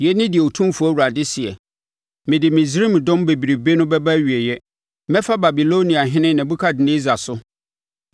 “ ‘Yei ne deɛ Otumfoɔ Awurade seɛ: “ ‘Mede Misraim dɔm bebrebe no bɛba awieeɛ mɛfa Babiloniahene Nebukadnessar so.